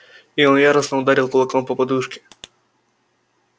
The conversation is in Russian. и он яростно ударил кулаком по подушке